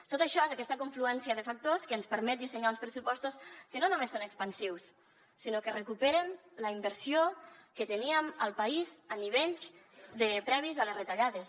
tot això és aquesta confluència de factors que ens permet dissenyar uns pressupostos que no només són expansius sinó que recuperen la inversió que teníem al país a nivells previs a les retallades